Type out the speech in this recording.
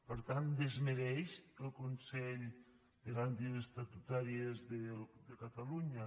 per tant desmereix el consell de garanties estatutàries de catalunya